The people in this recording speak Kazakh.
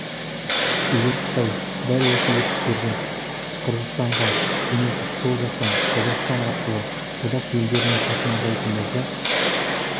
егер қытай дәл осы етіктерді қырғызстанға жөнелтіп сол жақтан қазақстан арқылы одақ елдеріне тасымалдайтын болса